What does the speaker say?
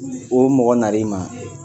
O mɔgɔ nar'i ma